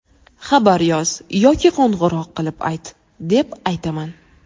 xabar yoz yoki qo‘ng‘iroq qilib ayt- deb aytaman.